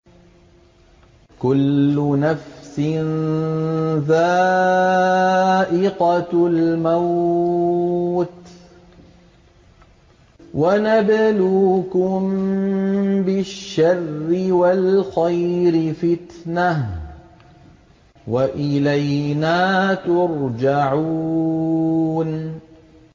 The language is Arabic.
كُلُّ نَفْسٍ ذَائِقَةُ الْمَوْتِ ۗ وَنَبْلُوكُم بِالشَّرِّ وَالْخَيْرِ فِتْنَةً ۖ وَإِلَيْنَا تُرْجَعُونَ